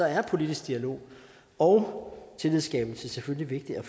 er politisk dialog og tillidsskabelse selvfølgelig vigtigt og